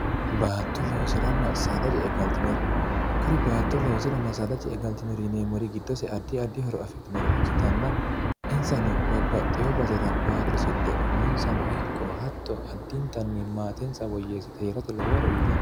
baatto loosiranna saada ce'e galtinore kuri baatto loosiranna saada ce'e galtinori yineemmori giddose addi addi horo afidhinore ikkitanna insano babbaxxiyo basira baatto loosidhe umonsano ikko hatto addintanni maatensa woyyeessite heerate lowohoro uyitanno.